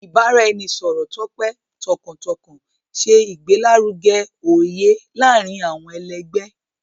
Ibaraẹnisọrọ tope tọkàntọkàn ṣe igbelaruge oye laarin awọn ẹlẹgbẹ.